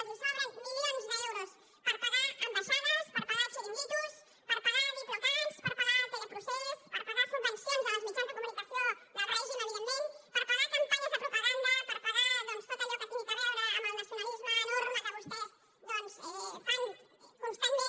els sobren milions d’euros per pagar ambaixades per pagar xiringuitos per pagar diplocats per pagar teleprocés per pagar subvencions als mitjans de comunicació del règim evidentment per pagar campanyes de propaganda per pagar tot allò que tingui a veure amb el nacionalisme enorme que vostès fan constantment